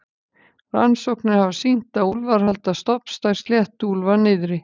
rannsóknir hafa sýnt að úlfar halda stofnstærð sléttuúlfa niðri